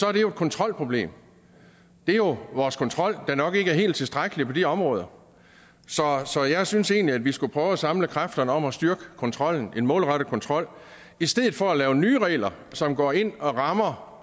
er det jo et kontrolproblem det er jo vores kontrol der nok ikke er helt tilstrækkelig på de områder så jeg synes egentlig at vi skulle prøve at samle kræfterne om at styrke kontrollen en målrettet kontrol i stedet for at lave nye regler som går ind og rammer